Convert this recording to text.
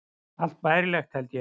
Allt bærilegt, held ég.